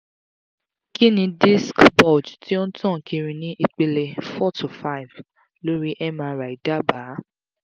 kí ni disc bulge ti o n tan kiri ni ipele four to five lori mri daba?